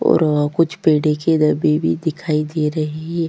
और आ कुछ पडीके अभी भी दिखाई दे रहै है।